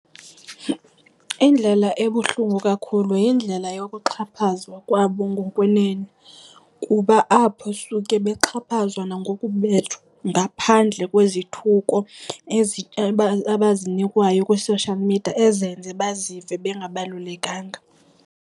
Indlela ebuhlungu kakhulu yindlela yokuxhaphazwa kwabo ngokwenene, kuba apho suke bexhaphazwa nangokubethwa ngaphandle kwezithuko ezi abazinikwayo kwi-social media ezenza bazive bengabalulekanga.